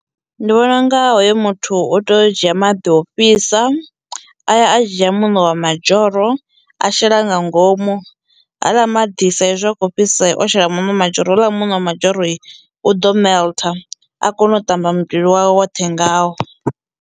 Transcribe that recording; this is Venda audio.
Ndi vhona unga hoyo muthu u tea u dzhia maḓi ofhisa aya, a dzhia muṋo wa madzhoro a shela nga ngomu haaḽa maḓi sa ezwi a kho fhisa o shela muṋo wa madzhoro houḽa muṋo wa madzhoroi ḓo melt a kono u tamba muvhili wawe woṱhe ngao.